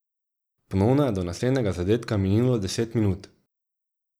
Ponovno je do naslednjega zadetka minilo deset minut.